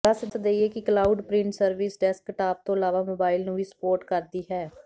ਦੱਸ ਦੇਈਏ ਕਿ ਕਲਾਊਡ ਪ੍ਰਿੰਟ ਸਰਵਿਸ ਡੈਸਕਟਾਪ ਤੋਂ ਇਲਾਵਾ ਮੋਬਾਇਲ ਨੂੰ ਵੀ ਸੁਪੋਰਟ ਕਰਦੀ ਹੈ